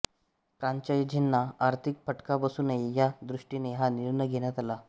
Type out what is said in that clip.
फ्रॅंचायझींना आर्थिक फटका बसू नये या दृष्टीने हा निर्णय घेण्यात आला